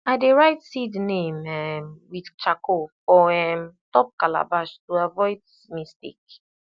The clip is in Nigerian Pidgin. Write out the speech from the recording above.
i dey write seed name um with charcoal for um top calabash to avoid mistake